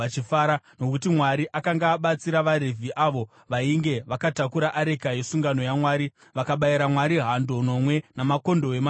Nokuti Mwari akanga abatsira vaRevhi avo vainge vatakura areka yesungano yaMwari, vakabayira Mwari hando nomwe namakondobwe manomwe.